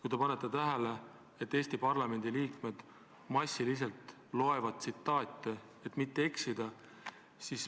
Kui te panete tähele, siis Eesti parlamendi liikmed massiliselt loevad ette tsitaate, et mitte eksida.